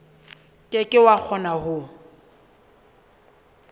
ke ke wa kgona ho